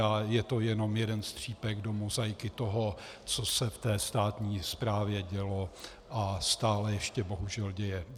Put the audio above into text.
A je to jenom jeden střípek do mozaiky toho, co se v té státní správě dělo a stále ještě bohužel děje.